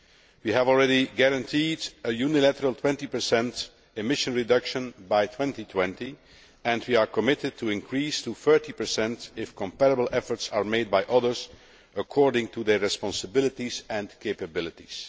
We have already guaranteed a unilateral 20 emission reduction by 2020, and we are committed to increase to 30 if comparable efforts are made by others according to their responsibilities and capabilities.